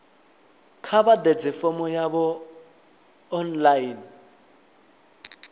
kha vha ḓadze fomo yavho online